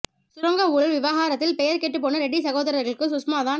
சுரங்க ஊழல் விவகாரத்தில் பெயர் கெட்டுப் போன ரெட்டி சகோதரர்களுக்கு சுஷ்மா தான்